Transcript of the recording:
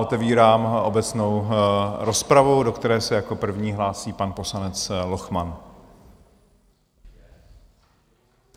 Otevírám obecnou rozpravu, do které se jako první hlásí pan poslanec Lochman.